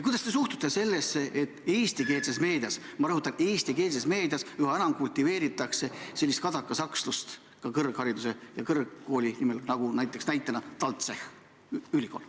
Kuidas te suhtute sellesse, et eestikeelses meedias – ma rõhutan, eestikeelses meedias – üha enam kultiveeritakse sellist kadakasakslust, ja seda ka kõrgkooli nime puhul, nagu näiteks toodud TalTech?